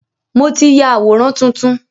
Mo ti ya àwòrán tuntun.